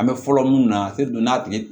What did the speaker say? An bɛ fɔlɔ mun na don n'a tun ye